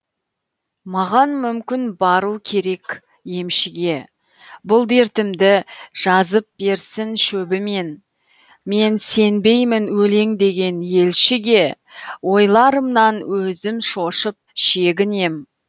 маған мүмкін бару керек емшіге бұл дертімді жазып берсін шөбімен мен сенбеймін өлең деген елшіге ойларымнан өзім шошып шегінем